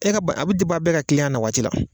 E ka bana a bɛ bɛɛ ka kiliyan na waati la.